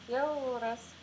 иә ол рас